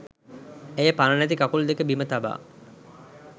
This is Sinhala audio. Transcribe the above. ඇය පණ නැති කකුල් දෙක බිම තබා